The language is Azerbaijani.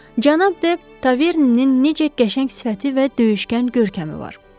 Cənab de Tavernenin necə qəşəng sifəti və döyüşkən görkəmi var.